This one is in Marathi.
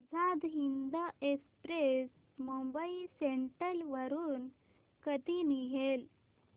आझाद हिंद एक्सप्रेस मुंबई सेंट्रल वरून कधी निघेल